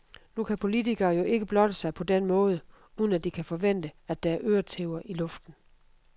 Nu kan politikere jo ikke blotte sig på den måde, uden at de kan forvente, at der er øretæver i luften.